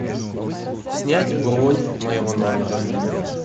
снять бронь моего номера